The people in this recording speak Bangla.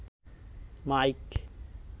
মাইক